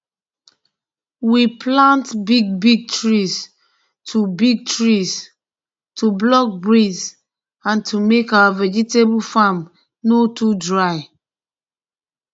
we plant big big trees to big trees to block breeze and to make our vegetable farm nor too dry